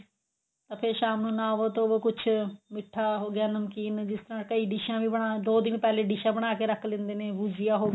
ਅਤੇ ਸ਼ਾਮ ਨੂੰ ਨਾਵੋ ਧੋਵੋ ਕੁੱਝ ਮਿੱਠਾ ਹੋ ਗਿਆ ਨਮਕੀਨ ਜਿਸ ਤਰ੍ਹਾਂ ਕਈ ਡਿਸ਼ਾ ਵੀ ਬਣਾ ਦੋ ਦਿਨ ਪਹਿਲਾਂ ਡਿਸ਼ਾ ਬਣਾਕੇ ਰੱਖ ਲਿੰਦੇ ਨੇ ਗੁਜੀਆ ਹੋ ਗਈ